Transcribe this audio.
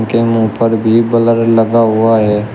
के मुंह पर भी बलर लगा हुआ है।